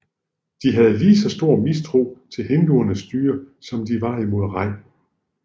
De havde lige så stor mistro til hinduernes styre som de var imod Raj